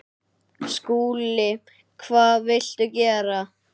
SKÚLI: Hvað viltu gera?